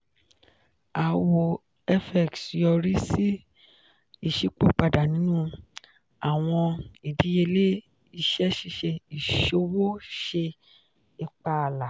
aawọ fx yori si iṣipopada ninu awọn idiyele iṣẹ ṣiṣe iṣowo ṣe ipa ala.